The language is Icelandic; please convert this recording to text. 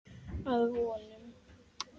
Að vonum.